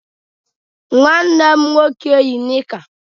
Nwanne m nwoke yi nịka.